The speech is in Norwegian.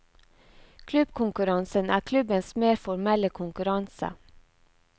Klubbkonkurransen er klubbens mer formelle konkurranse.